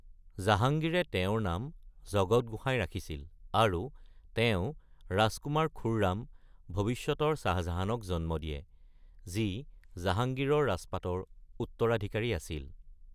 জাহাংগিৰে তেওঁৰ নাম জগত গোসাই ৰাখিছিল, আৰু তেওঁ ৰাজকুমাৰ খুৰ্ৰাম, ভৱিষ্যতৰ শ্বাহজাহানক জন্ম দিয়ে, যি জাহাংগীৰৰ ৰাজপাটৰ উত্তৰাধিকাৰী আছিল।